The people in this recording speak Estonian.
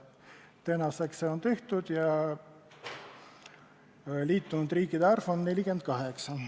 Tänaseks on see tehtud ja me teame, et liitunud riikide arv on 48.